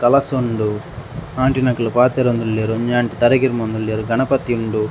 ಕೆಲಸ ಉಂಡು ಆಂಟಿನಕುಲು ಪಾತೆರೊಂದುಲ್ಲೆರ್ ಉಂಜಿ ಆಂಟಿ ತರೆ ಕಿರ್ಮೊಂದುಲ್ಲೆರ್ ಗಣಪತಿ ಉಂಡು.